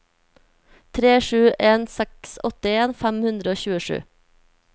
tre sju en seks åttien fem hundre og tjuesju